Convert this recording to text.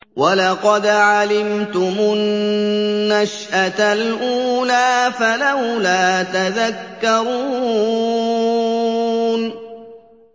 وَلَقَدْ عَلِمْتُمُ النَّشْأَةَ الْأُولَىٰ فَلَوْلَا تَذَكَّرُونَ